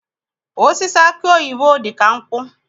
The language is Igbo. Osisi aki oyibo dị ka nkwụ.